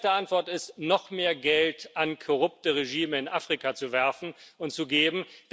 Die erste Antwort ist, noch mehr Geld korrupten Regimen in Afrika zuzuwerfen und zu geben.